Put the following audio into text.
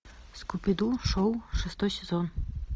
скуби ду шоу шестой сезон